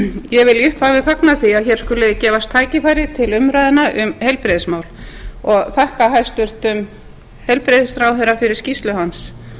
ég vil í upphafi fagna því að það skuli gefast tækifæri til umræðna um heilbrigðismál og þakka hæstvirtum heilbrigðisráðherra fyrir skýrslu hans